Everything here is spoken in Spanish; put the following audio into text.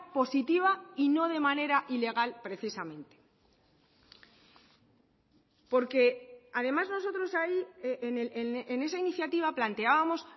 positiva y no de manera ilegal precisamente porque además nosotros ahí en esa iniciativa planteábamos